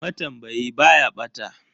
Matambayi ba ya bata.